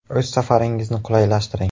O‘z safaringizni qulaylashtiring!